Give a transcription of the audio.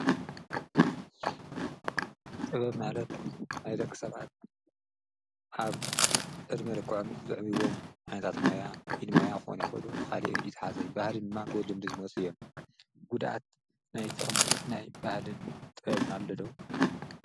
ጥበብ ማለር ናይ ደኽሰባት ኣብ ዕድሚ ርኮዓም ዘዕቢይዎም ዓንታት ሞያ ኢንሞያ ኾነኮዶ ኻልየ ይትሓዘይ ባህልንማ ብድልም ድዝሞስዮም ጕዳት ናይ ተቕሚዕ ናይ ባህልን ጠውብኖ ኣለዶዉ።